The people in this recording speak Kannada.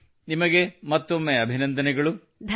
ನಿಮಗೆ ಮತ್ತೊಮ್ಮೆ ಅಭಿನಂದನೆಗಳು ಸೋ ಕಾಂಗ್ರಾಚುಲೇಷನ್ಸ್ ಅಗೈನ್